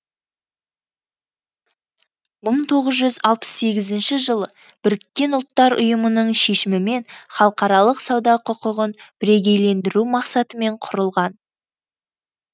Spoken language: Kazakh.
мың тоғыз жүз алпыс сегізінші жылы біріккен ұлттар ұйымының шешімімен халықаралық сауда құқығын бірегейлендіру мақсатымен құрылған